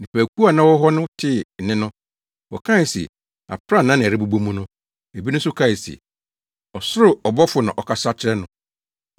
Nnipakuw a na wɔwɔ hɔ no tee nne no, wɔkae se aprannaa na ɛrebobɔ mu. Ebinom nso kae se, ɔsoro ɔbɔfo na ɔkasa kyerɛɛ no.